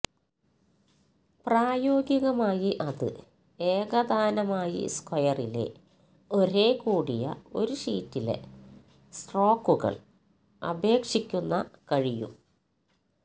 പ്രായോഗികമായി അത് ഏകതാനമായി സ്ക്വയറിലെ ഒരേ കൂടിയ ഒരു ഷീറ്റിലെ സ്ട്രോക്കുകൾ അപേക്ഷിക്കുന്ന കഴിയും